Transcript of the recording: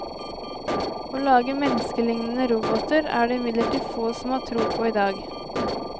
Å lage menneskelignende roboter er det imidlertid få som har tro på i dag.